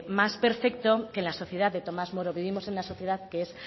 más perfecto que la sociedad de tomas moro vivimos en una sociedad que es